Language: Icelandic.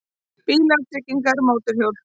BÍLAR, TRYGGINGAR, MÓTORHJÓL